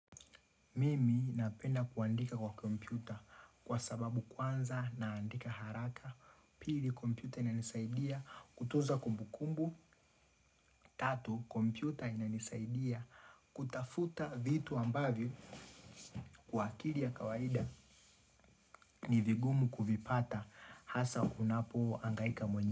Mimi napenda kuandika kwa kompyuta kwa sababu kwanza naandika haraka. Pili kompyuta ina nisaidia kutuza kumbu kumbu. Tatu kompyuta ina nisaidia kutafuta vitu ambavyo wakili ya kawaida ni vigumu kuvipata hasa unapo angaika mwenye.